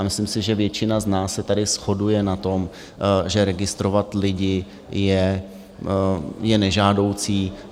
A myslím si, že většina z nás se tady shoduje na tom, že registrovat lidi je nežádoucí.